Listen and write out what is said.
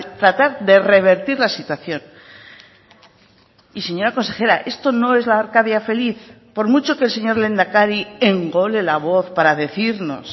tratar de revertir la situación y señora consejera esto no es la arcadia feliz por mucho que el señor lehendakari engole la voz para decirnos